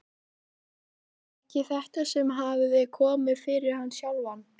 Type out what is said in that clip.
Og kom sér nú loks að erindinu.